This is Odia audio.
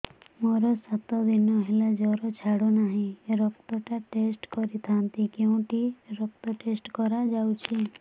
ମୋରୋ ସାତ ଦିନ ହେଲା ଜ୍ଵର ଛାଡୁନାହିଁ ରକ୍ତ ଟା ଟେଷ୍ଟ କରିଥାନ୍ତି କେଉଁଠି ରକ୍ତ ଟେଷ୍ଟ କରା ଯାଉଛି